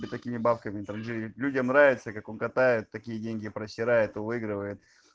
да такими бабками транжиреть людям нравится как он катает такие деньги просирает выигрывает